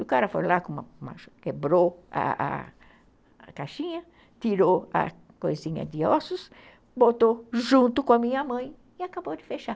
O cara foi lá, quebrou a caixinha, tirou a coisinha de ossos, botou junto com a minha mãe e acabou de fechar.